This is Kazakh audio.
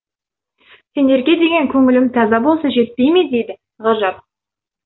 сендерге деген көңілім таза болса жетпей ме дейді ғажап